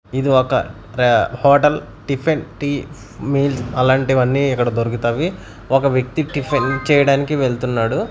ఇది ఒక ర హోటల్ టిఫిన్ టీ మీల్స్ అలాంటివన్నీ ఇక్కడ దొరుకుతవి ఒక వ్యక్తి టిఫిన్ చేయడానికి వెళ్తున్నాడు.